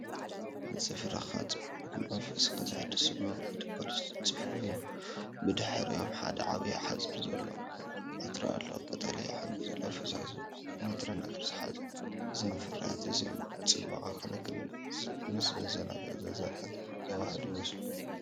ንጽፍርኻ ጽቡቓትን መንፈስካ ዘሐድሱን መወገዲ ፖሊሽ ጽፍሪ እዮም! ብድሕሪኦም ሓደ ዓቢ ንጹር ዕትሮ ኣሎ፣ ቀጠልያ ሕብሪ ዘለዎ ፈሳሲ ወይ ንጥረ ነገር ዝሓዘ፣ .እዞም ፍርያት እዚኦም ንጽባቐ ክንክን ምስ ዘዘናግዕን ዘዛንን ስምዒት ዘወሃህዱ ይመስሉ!